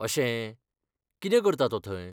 अशें, कितें करता तो थंय?